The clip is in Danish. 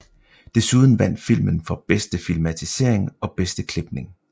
Desuden vandt filmen for bedste filmatisering og bedste klipning